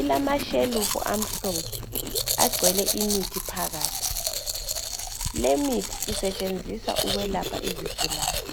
ilamashelufu amhlophe agcwele imithi phakathi limithi isetshenziswa ukwelapha izigulani.